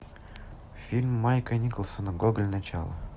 фильм майка николсона гоголь начало